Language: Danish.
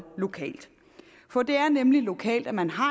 lokalt for det er nemlig lokalt at man har